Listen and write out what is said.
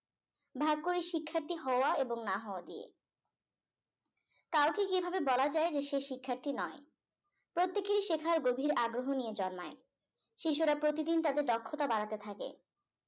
ভাগ করে শিক্ষার্থী হওয়া এবং না হওয়া দিয়ে কাউকে কিভাবে বলা যায় যে সে শিক্ষার্থী নয় প্রত্যেকেই শেখার গভীর আগ্রহ নিয়ে জন্মায় শিশুরা প্রতিদিন তাদের দক্ষতা বাড়াতে থাকে